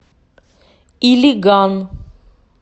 илиган